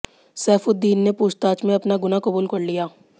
सैफुद्दीन ने पूछताछ में अपना गुनाह कबूल कर लिया